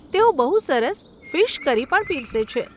તેઓ બહુ સરસ ફીશ કરી પણ પીરસે છે.